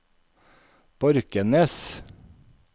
Borkenes